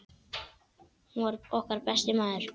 Hann var okkar besti maður.